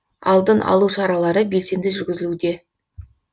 алдын алу шаралары белсенді жүргізілуде